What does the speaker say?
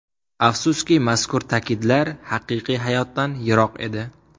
Afsuski, mazkur ta’kidlar haqiqiy hayotdan yiroq edi.